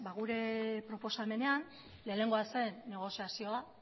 gure proposamenean lehenengoa zen negoziazioa